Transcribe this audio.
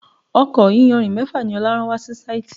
Ọkọ̀ iyanrìn mẹ́fà ni Ọlá rán wa si síìtí.